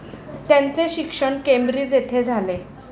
त्यांचे शिक्षण केम्ब्रिज येथे झाले.